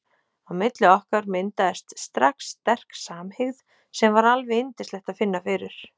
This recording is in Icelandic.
Á milli okkar myndaðist strax sterk samhygð sem var alveg yndislegt að finna fyrir.